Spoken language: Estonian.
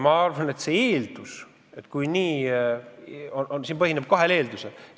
Ma arvan, et jaatav vastus põhineb kahel eeldusel.